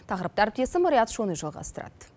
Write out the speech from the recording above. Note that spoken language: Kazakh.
тақырыпты әріптесім риат шони жалғастырады